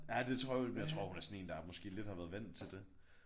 Ja det tror jeg men jeg tror hun er sådan en der måske lidt har været vant til det